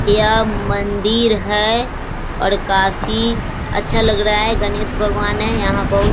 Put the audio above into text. यह मंदिर है और काफी अच्छा लग रहा है गणेश भगवान है यहां बहुत --